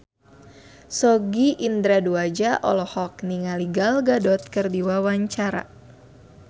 Sogi Indra Duaja olohok ningali Gal Gadot keur diwawancara